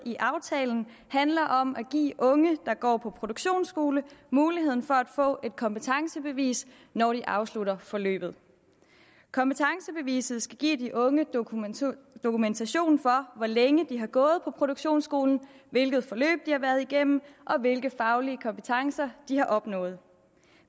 i aftalen handler om at give unge der går på produktionsskole muligheden for at få et kompetencebevis når de afslutter forløbet kompetencebeviset skal give de unge dokumentation dokumentation for hvor længe de har gået på produktionsskolen hvilket forløb de har været igennem og hvilke faglige kompetencer de har opnået